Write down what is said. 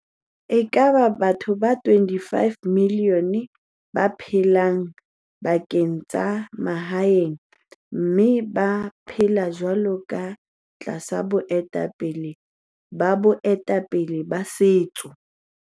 E ka ba batho ba 25 milione ba phelang dibakeng tsa ma haeng mme ba phela jwalo ka tlasa boetapele ba bae tapele ba setso.